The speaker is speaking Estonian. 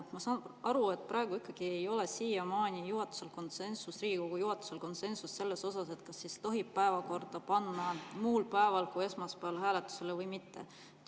Ma saan aru, et praegu ikkagi ei ole Riigikogu juhatuses konsensust, kas päevakorda tohib panna hääletusele muul päeval kui esmaspäeval või mitte.